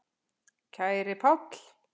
Kæri Páll.